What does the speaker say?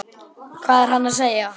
Hvað er hann að segja?